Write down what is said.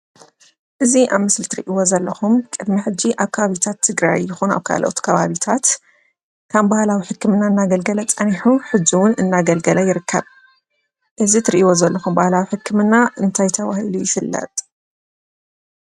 እዚ ኣብ ምስሊ እትርእይዎ ዘለኹም ቅድሚ ሕጂ ኣብ ከባብታት ትግራይ ይኹን ኣብ ካልኦት ከባቢታት ከም ባህላዊ ሕክምና እናገልገለ ፀኒሑ ሕጂ እዉን እናገልገለ ይርከብ። እዚ እትርእይዎ ዘለኹም ባህላዊ ሕክምና እንታይ ተባሂሉ ይፍለጥ?